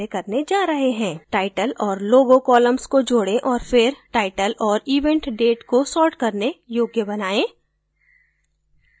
title और logo columns को जोडें और फिर title और event date को सॉर्ट करने योग्य बनाएँ